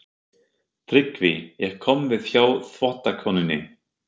TRYGGVI: Ég kom við hjá þvottakonunni.